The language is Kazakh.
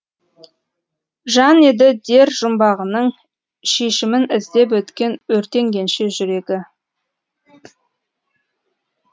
жан еді дер жұмбағының шешімін іздеп өткен өртенгенше жүрегі